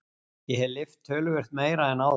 Ég hef lyft töluvert meira en áður.